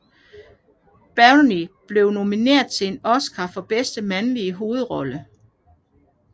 Beery blev nomineret til en Oscar for bedste mandlige hovedrolle